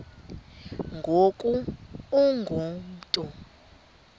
ngoku ungu mntu